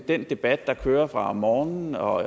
den debat der kører fra om morgenen og